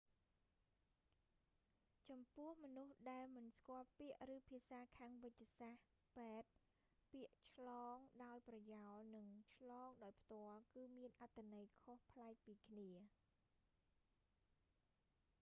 ចំពោះមនុស្សដែលមិនស្គាល់ពាក្យ ឬភាសាខាងវេជ្ជសាស្ត្រ ពេទ្យ ពាក្យឆ្លងដោយប្រយោលនិងឆ្លងដោយផ្ទាល់ គឺមានអត្ថន័យខុសប្លែកពីគ្នា